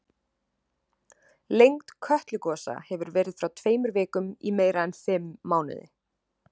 Lengd Kötlugosa hefur verið frá tveimur vikum í meira en fimm mánuði.